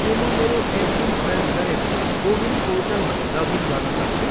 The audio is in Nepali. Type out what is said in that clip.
के म मेरो एमपिन प्रयोग गरेर कोविन पोर्टलमा लगइन गर्न सक्छु?